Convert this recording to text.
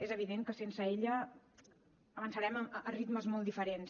és evident que sense ella avançarem a ritmes molt diferents